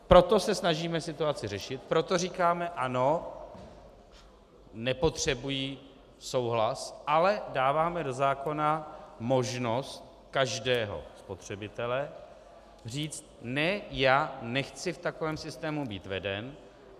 Proto se snažíme situaci řešit, proto říkáme ano, nepotřebují souhlas, ale dáváme do zákona možnost každého spotřebitele říci: ne, já nechci v takovém systému být veden.